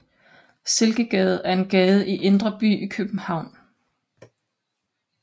Silkegade er en gade i Indre By i København